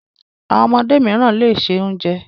Àwọn ọmọdé mìíràn le se oúnjẹ.